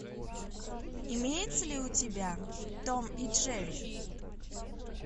имеется ли у тебя том и джерри